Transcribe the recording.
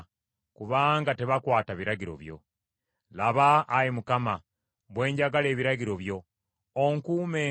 Laba, Ayi Mukama , bwe njagala ebiragiro byo! Onkuumenga ng’okwagala kwo bwe kuli.